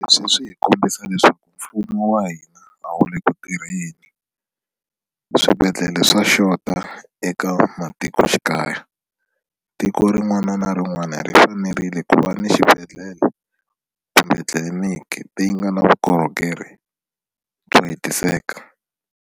Leswi hi kombisa leswaku mfumo wa hina a wu le ku tirheni swibedhlele swa xota eka matikoxikaya tiko rin'wana na rin'wana ri fanerile ku va ni xibedhlele kumbe tliliniki leyi nga na vukorhokeri byo hetiseka.